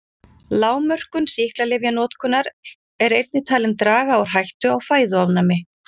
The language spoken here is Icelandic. Lágmörkun sýklalyfjanotkunar er einnig talin draga úr hættu á fæðuofnæmi.